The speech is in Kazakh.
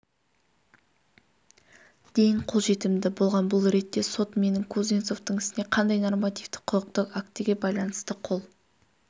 дейін қол жетімді болған бұл ретте сот менің кузнецовтың ісіне қандай нормативтік-құқықтық актіге байланысты қол